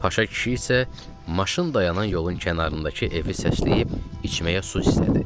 Paşa kişi isə maşın dayanan yolun kənarındakı evi səsləyib içməyə su istədi.